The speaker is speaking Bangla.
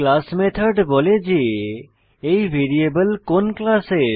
ক্লাস মেথড বলে যে এই ভ্যারিয়েবল কোন ক্লাসের